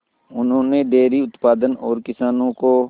उन्होंने डेयरी उत्पादन और किसानों को